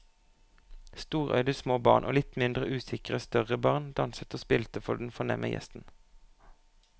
Storøyde små barn og litt mindre usikre større barn danset og spilte for den fornemme gjesten.